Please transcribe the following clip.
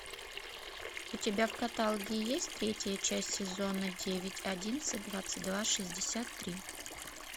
у тебя в каталоге есть третья часть сезона девять одиннадцать двадцать два шестьдесят три